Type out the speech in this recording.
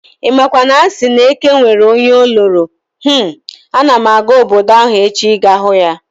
Imakwa na asị na eke nwere onye onoro, hmmm! Ana m aga obodo ahụ echi ịga hụ ya